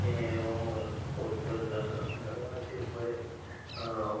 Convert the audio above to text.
আ অ্যা এবং পদ্মর লাগা লাগা আছে উপরে। আ --